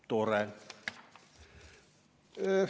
Tore!